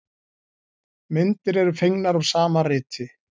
Myndir eru fengnar úr sama riti.